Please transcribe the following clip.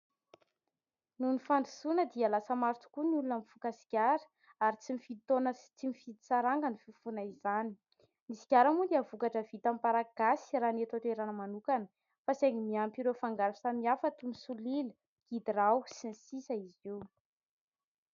Noho ny fandrosoana dia lasa maro tokoa ny olona mifoka sigara ary tsy mifidy taona sy tsy mifidy saranga ny fifohana izany. Ny sigara moa dia vokatra vita amin'ny paraky gasy raha ny eto an-toerana manokana, fa saingy miampy ireo fangaro samihafa toy ny solila, gidrao sy ny sisa izy io.